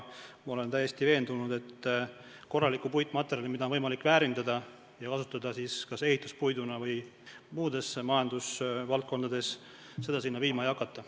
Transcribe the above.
Ma olen täiesti veendunud, et korralikku puitmaterjali, mida on võimalik väärindada ja kasutada kas ehituspuiduna või muudes majandusvaldkondades, sinna viima ei hakata.